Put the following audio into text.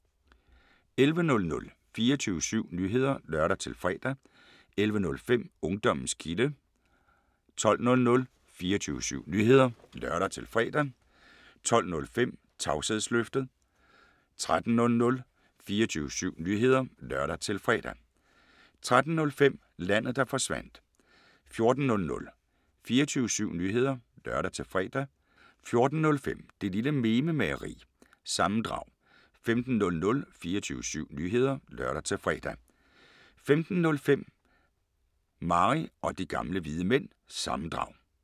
11:00: 24syv Nyheder (lør-fre) 11:05: Ungdommens Kilde 12:00: 24syv Nyheder (lør-fre) 12:05: Tavshedsløftet 13:00: 24syv Nyheder (lør-fre) 13:05: Landet Der Forsvandt 14:00: 24syv Nyheder (lør-fre) 14:05: Det Lille Mememageri – sammendrag 15:00: 24syv Nyheder (lør-fre) 15:05: Mary Og De Gamle Hvide Mænd – sammendrag